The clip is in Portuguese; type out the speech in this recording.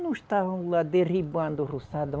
Não estavam lá derribando o roçado.